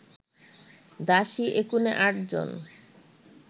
দাসী একুনে আটজন